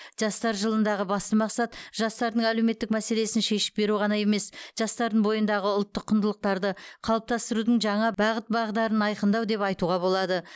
жастар жылындағы басты мақсат жастардың әлеуметтік мәселесін шешіп беру ғана емес жастардың бойындағы ұлттық құндылықтарды қалыптастырудың жаңа бағыт бағдарын айқындау деп айтуға болады